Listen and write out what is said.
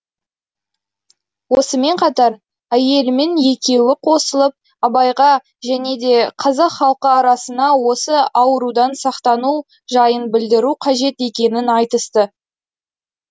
осымен қатар әйелімен екеуі қосылып абайға және де қазақ халқы арасына осы аурудан сақтану жайын білдіру қажет екенін айтысты